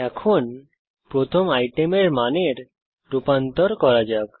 এখন প্রথম আইটেমের মানের রূপান্তর করা যাক